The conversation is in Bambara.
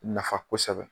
Nafa kosɛbɛ